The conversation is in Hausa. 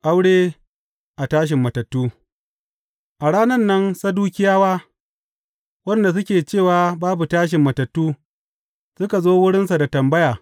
Aure a tashin matattu A ranan nan Sadukiyawa, waɗanda suke cewa babu tashin matattu, suka zo wurinsa da tambaya.